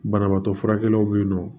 Banabaatɔ furakɛlaw be yen nɔ